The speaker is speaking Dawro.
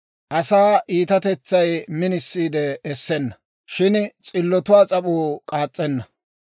Asaa iitatetsay minisiide essenna; shin s'illotuwaa s'ap'uu k'aas's'enna.